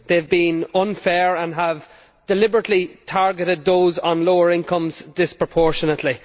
they have been unfair and have deliberately targeted those on lower incomes disproportionately.